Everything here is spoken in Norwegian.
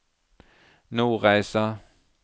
Nordreisa